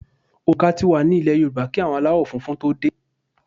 Òǹkà tí wá nílè Yorùbá kí àwọn aláwò funfun tó dè.